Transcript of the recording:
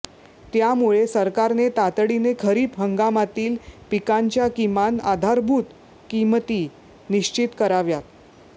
त्यामुळे सरकारने तातडीने खरीप हंगामातील पिकांच्या किमान आधारभूत किमती निश्चित कराव्यात